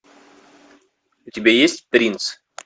у тебя есть принц